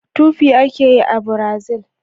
Tupi ake yi a Brazil